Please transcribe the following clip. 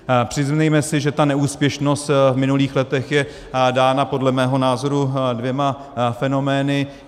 Přiznejme si, že ta neúspěšnost v minulých letech je dána podle mého názoru dvěma fenomény.